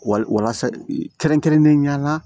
Wa walasa kɛrɛnkɛrɛnnen ɲɛna